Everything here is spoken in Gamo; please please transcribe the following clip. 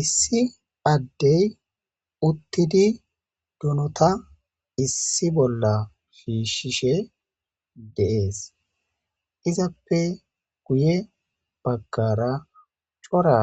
Issi addey uttidi dunota issi bolla shiishishe deees izappe guye baggara cora